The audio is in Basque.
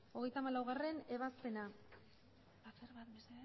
hogeita hamalaugarrena ebazpena